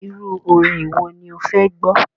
Iru orin wò ní o fè gbó?